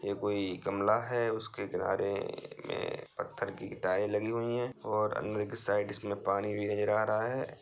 ये कोई गमला है उसके किनारे में पत्थर की टाइल लगी हुई हैं और अंदर के साइड इसमे पानी भी नजर आ रहा है।